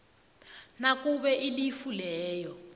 nakube ilifu leyo